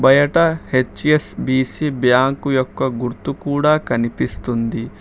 బయట HSBC bank యొక్క గుర్తు కూడా కనిపిస్తుంది.